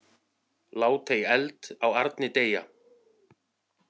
Lát ei eld á arni deyja.